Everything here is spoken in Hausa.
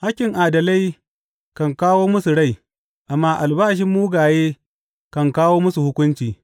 Hakkin adalai kan kawo musu rai, amma albashin mugaye kan kawo musu hukunci.